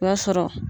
O b'a sɔrɔ